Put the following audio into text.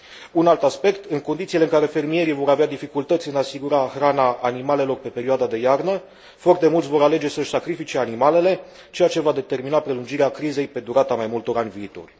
Un alt aspect în condițiile în care fermierii vor avea dificultăți în a asigura hrana animalelor pe perioada de iarnă, foarte mulți vor alege să își sacrifice animalele, ceea ce va determina prelungirea crizei pe durata mai multor ani viitori.